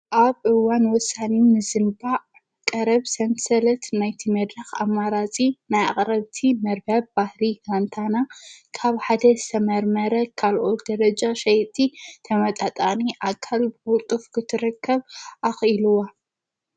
ኣብ እዋን ወሳኒ ንምዘንባዕ ቀረብ ሰንሰለት ናይቲ መድራኽ ኣማራፂ ናይ ኣቕረብቲ መርበብ ባሕሪ ካንታና ካብ ሓደ ዝተመርመረ ካልኦት ደረጃ ሸይጥቲ ተመጣጣኒ ኣካል ብክልጡፍ ክትረከብ ኣኽኢልዋ።